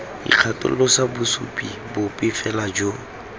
ikgatholosa bosupi bope fela jo